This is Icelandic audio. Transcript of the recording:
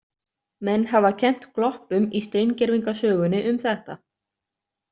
Menn hafa kennt gloppum í steingervingasögunni um þetta.